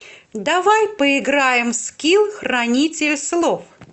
давай поиграем в скилл хранитель слов